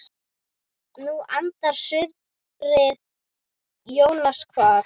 Nú andar suðrið Jónas kvað.